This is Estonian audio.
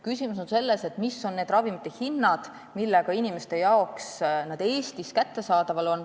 Küsimus on selles, mis on need hinnad, millega ravimid on inimeste jaoks Eestis kättesaadavad.